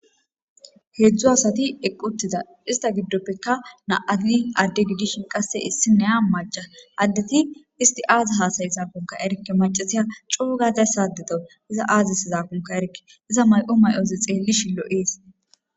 Heedzdzu asati eqquttiza ista giddoppekka na7ati adde gidishin qasse issineya maca addeti isti aazi hasay saapunka erkke macasiya cuugazay saadeto iza aazis zaaqunka erke iza may7o may7oze xeelli shillo7ees.